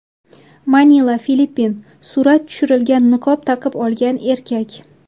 Manila, Filippin Surat tushirilgan niqob taqib olgan erkak.